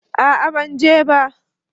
A'a ban je ba